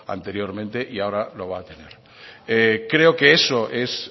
anteriormente y ahora lo va a tener creo que eso es